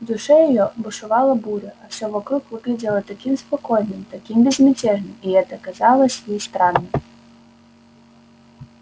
в душе её бушевала буря а все вокруг выглядело таким спокойным таким безмятежным и это казалось ей странным